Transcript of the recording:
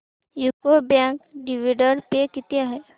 UCO bank dividend pay किती आहे